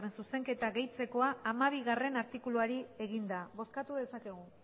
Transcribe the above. zuzenketa gehitzekoa hamabigarrena artikuluari eginda bozkatu dezakegu